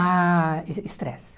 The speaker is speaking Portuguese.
Ah, estresse.